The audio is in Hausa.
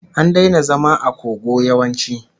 An daina zama a kogo yawanci